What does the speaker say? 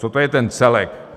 Co to je ten celek?